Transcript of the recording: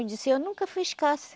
Eu disse, eu nunca fui escassa.